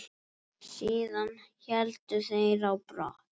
Síðan héldu þeir á brott.